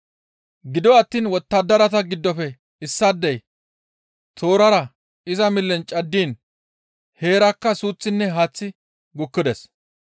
Gido attiin wottadarata giddofe issaadey toorara iza millen caddiin heerakka suuththinne haaththi gukkides.